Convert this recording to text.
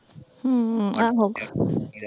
ਹਮ ਆਹੋ।